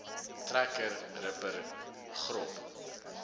trekker ripper grop